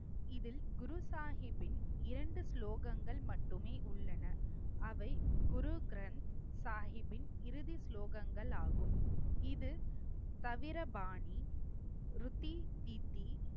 இதில் குரு சாஹிப்பின் இரண்டு ஸ்லோகங்கள் மட்டுமே உள்ளன. அவை குரு கிரந்த் சாஹிப்பின் இறுதி ஸ்லோகங்கள் ஆகும். இது தவிர பாணி ருதி தித்தி